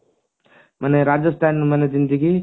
ମାନେ ରାଜସ୍ଥାନ ମାନେ ଯେମତିକି